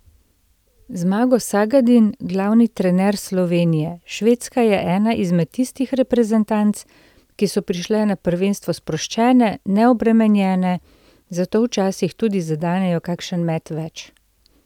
Zmago Sagadin, glavni trener Slovenije: 'Švedska je ena izmed tistih reprezentanc, ki so prišle na prvenstvo sproščene, neobremenjene, zato včasih tudi zadenejo kakšen met več.